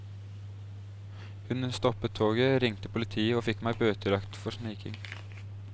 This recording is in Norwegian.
Hun stoppet toget, ringte politiet og fikk meg bøtelagt for sniking.